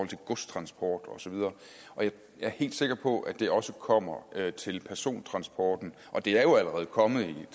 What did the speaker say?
til godstransport osv og jeg er helt sikker på at det også kommer til persontransporten det er jo allerede kommet i